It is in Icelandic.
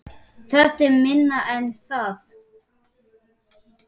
Þetta er minna en það